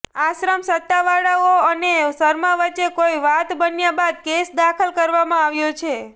આશ્રમ સત્તાવાળાઓ અને શર્મા વચ્ચે કોઇ વાત બન્યા બાદ કેસ દાખલ કરવામાં આવ્યો છે